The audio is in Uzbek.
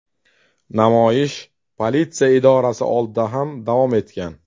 Namoyish politsiya idorasi oldida ham davom etgan.